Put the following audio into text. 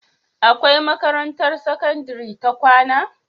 Akwai makarantar sakandari ta kwAna?